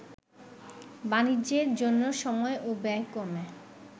বাণিজ্যের জন্য সময় ও ব্যয় কমে